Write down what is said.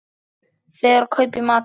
Fer og kaupi í matinn.